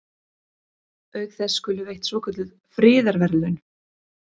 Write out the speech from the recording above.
Auk þess skulu veitt svokölluð friðarverðlaun.